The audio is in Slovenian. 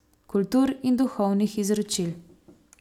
Kultur in duhovnih izročil.